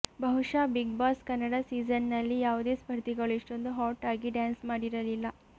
ಬಹುಶಃ ಬಿಗ್ಬಾಸ್ ಕನ್ನಡ ಸೀಸನ್ನಲ್ಲಿ ಯಾವುದೇ ಸ್ಪರ್ಧಿಗಳು ಇಷ್ಟೊಂದು ಹಾಟ್ ಆಗಿ ಡ್ಯಾನ್ಸ್ ಮಾಡಿರಲಿಲ್ಲ